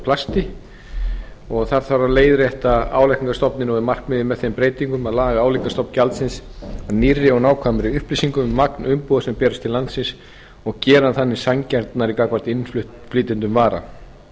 plasti það þarf að leiðrétta álagningarstofninn og er markmiðið með þeim breytingum að laga álíka stofn gjaldsins að nýrri og nákvæmari upplýsingum um magn umbúða sem berst til landsins og gera hann þannig sanngjarnari gagnvart innflytjendum vara lögin um